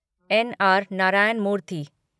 न. आर. नारायण मूर्ति